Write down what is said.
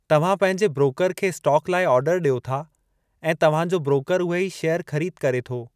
तव्हां पंहिंजे ब्रोकर खे स्टाक लाइ आर्डरु ॾियो था ऐं तव्हां जो ब्रोकर उहे ई शेयर ख़रीद करे थो।